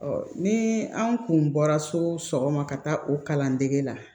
ni anw kun bɔra so sɔgɔma ka taa o kalan dege la